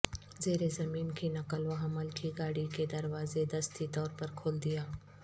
زیر زمین کی نقل و حمل کی گاڑی کے دروازے دستی طور پر کھول دیا